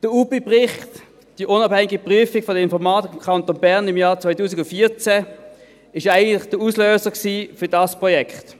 Der UPI-Bericht, der unabhängigen Prüfung der Informatik im Kanton Bern im Jahr 2014, war eigentlich der Auslöser für dieses Projekt.